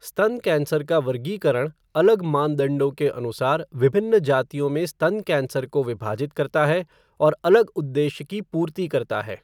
स्तन कैंसर का वर्गीकरण अलग मानदंडों के अनुसार विभिन्न जातियों में स्तन कैंसर को विभाजित करता है और अलग उद्देश्य की पूर्ति करता है।